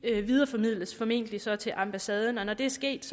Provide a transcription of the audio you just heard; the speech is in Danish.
videreformidles formentlig så til ambassaden og når det er sket